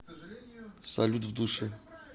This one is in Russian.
салют в душе